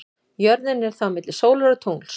Jörðin er þá milli sólar og tungls.